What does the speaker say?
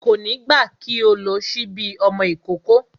Kò ní gbà kí o lo sípí ọmọ ìkókó